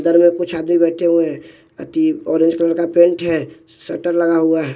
इधर में कुछ आदमी बैठे हुए हैं अति ऑरेंज कलर का पेंट है शटर लगा हुआ है।